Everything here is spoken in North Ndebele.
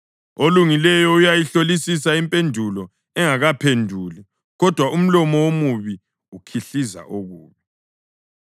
Olungileyo uyayihlolisisa impendulo engakaphenduli, kodwa umlomo womubi ukhihliza okubi.